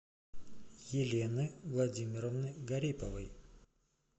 елены владимировны гариповой